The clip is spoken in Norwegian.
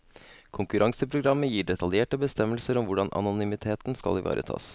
Konkurranseprogrammet gir detaljerte bestemmelser om hvordan anonymiteten skal ivaretas.